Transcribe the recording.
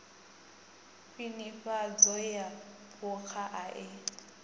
khwinifhadzo ya phukha i a